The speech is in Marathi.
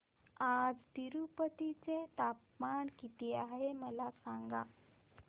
आज तिरूपती चे तापमान किती आहे मला सांगा